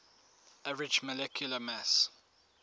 average molecular mass